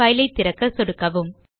file ஐ திறக்க சொடுக்கவும்